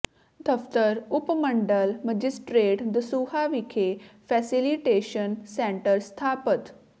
ਦਫ਼ਤਰ ਉਪ ਮੰਡਲ ਮੈਜਿਸਟ੍ਰੇਟ ਦਸੂਹਾ ਵਿਖੇ ਫੈਸਿਲੀਟੇਸ਼ਨ ਸੈਂਟਰ ਸਥਾਪਤ